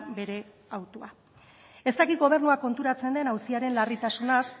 bere hautua ez dakit gobernua konturatzen den auziaren larritasunaz